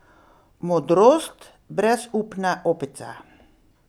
Modrost brezupne opice.